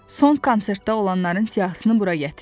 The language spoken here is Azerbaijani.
Son konsertdə olanların siyahısını bura gətir.